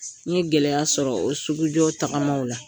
N ye gɛlɛya sɔrɔ o sugujɔ tagamaw la.